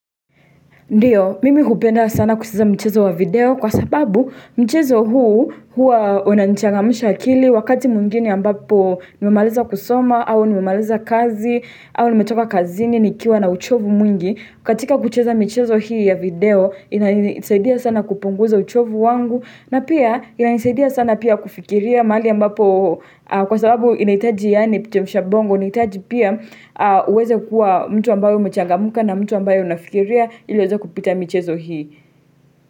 Ndiyo, mimi hupenda sana kucheza mchezo wa video kwa sababu mchezo huu huwa unanichangamusha akili wakati mwingine ambapo nimemaliza kusoma au nimemaliza kazi au nimetoka kazini nikiwa na uchovu mwingi. Katika kucheza michezo hii ya video inanisaidia sana kupunguza uchovu wangu na pia inanisaidia sana pia kufikiria mahali ambapo kwa sababu inahitaji yani chemsha bongo inahitaji pia uweze kuwa mtu ambao umechangamka na mtu ambaye unafikiria ili eweze kupita michezo hii.